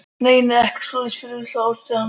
Nei, nei, ekkert svoleiðis fullvissaði Ari hann um.